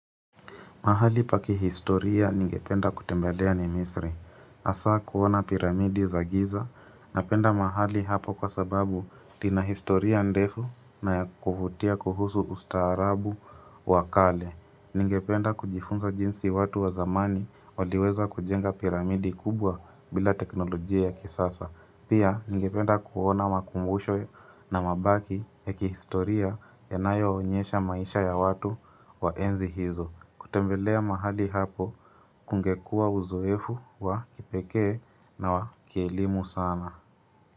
Mahali pa kihistoria ningependa kutembelea ni misri. Hasa kuona piramidi za giza napenda mahali hapo kwa sababu lina historia ndefu na ya kuvutia kuhusu ustaarabu wakale. Ningependa kujifunza jinsi watu wa zamani waliweza kujenga piramidi kubwa bila teknolojia ya kisasa. Pia ningependa kuona makumbusho na mabaki ya kihistoria yanayoonyesha maisha ya watu wa enzi hizo. Kutembelea mahali hapo kungekua uzoefu wa kipekee na wa kielimu sana.